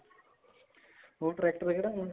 ਹੁਣ tractor ਕਿਹੜਾ ਹੁਣ